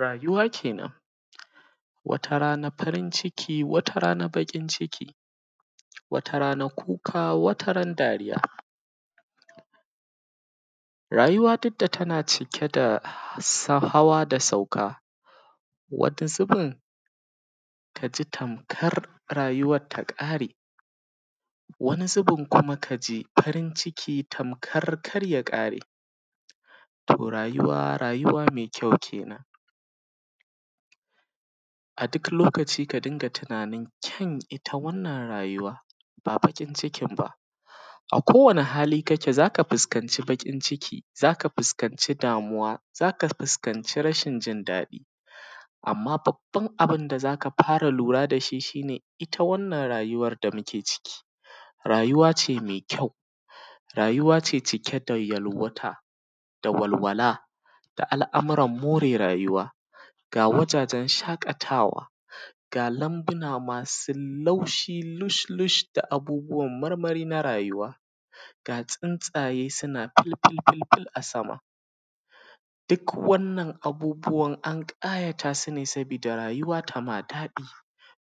Rayuwa kenan wata rana farin ciki wata rana baƙi ciki, wata rana kuka wata rana dariya. Rayuwa duk da tana cike da hawa da sauka, wata zubin ka ji kamar rayuwar ta ƙare, wani zubi ka ji farin ciki tamkar kar ya kare. To, rayuwa rayuwa mai ƙyau kenan .a duk lokaci ka riƙa tunanin mai kyau wannan rayuwa ba baƙin cikin ba, a kowanne hali kake za ka fuskanci baƙin ciki za ka fuskanci damuwa za ka fuskanci rashin jin daɗi. Amma Babban abun da za ka fara lura da shi ,shi ne ita wannan rayuwar da muke ciki, rayuwa ce mai ƙyau rayuwa ce cike da yalwata da walwala da al'amuran more rayuwa ga wajajen shaƙatawa ga lambuna masu laushi lush lush da abubuwan marmari na rayuwa ga tsuntsaye suna fulfulful a sama. Duk Wannan abubuwan an ƙayatu su ne saboda rayuwa tai ma daɗi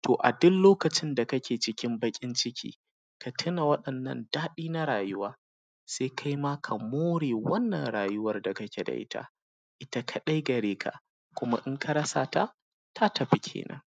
to a duk lokacin da kake cikin baƙin ciki ka tuna wannan daɗi na rayuwa, sai kai ma ka more wannan rayuwar da kake da ita. Ita kaɗai gare kuma in ka rasa ta, ta tafi kenan.